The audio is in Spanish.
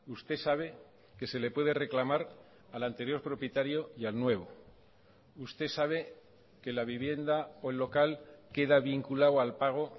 usted sabe que se le puede reclamar al anterior propietario y al nuevo usted sabe que la vivienda o el local queda vinculado al pago